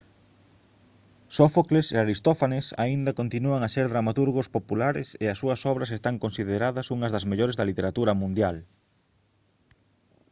sófocles e aristófanes aínda continúan a ser dramaturgos populares e as súas obras están consideradas unhas das mellores da literatura mundial